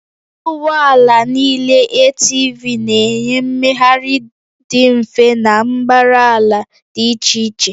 Ụgbọ ala niile ATV na-enye mmegharị dị mfe na mbara ala dị iche iche